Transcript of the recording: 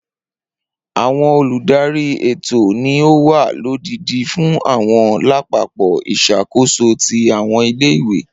Awọn oludari etò ni o wa lodidi fun awọn lapapọ isakoso ti awọn ile-iwe